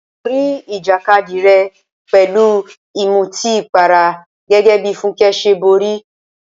Borí ìjàkadì rẹ pẹ̀lú ìmutípara gẹ́gẹ́ bí Funke ṣe borí.